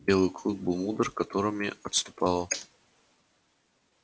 белый клык был мудр которыми отступала